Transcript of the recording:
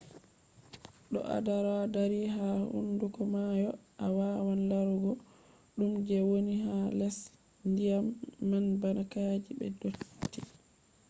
to ado dari ha hunduko maayo a wawan larugo ko dume je woni ha les dyam man bana ka’eji be dotti